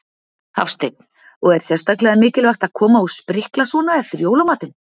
Hafsteinn: Og er sérstaklega mikilvægt að koma og sprikla svona eftir jólamatinn?